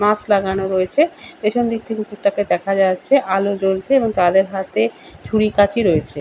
Mask লাগানো রয়েছে পেছন দিক থেকে কুকুরটাকে দেখা যাচ্ছে। আলো জ্বলছে এবং তাদের হাতে ছুরি কাঁচি রয়েছে।